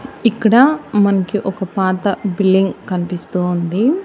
ఇక్కడ మనకి ఒక పాత బిల్డింగ్ కన్పిస్తూ ఉంది.